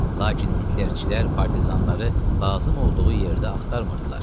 Lakin Hitlerçilər partizanları lazım olduğu yerdə axtarmırdılar.